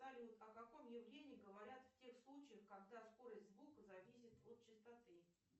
салют о каком явлении говорят в тех случаях когда скорость звука зависит от частоты